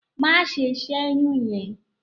Má ṣe ṣẹ́yún yẹn!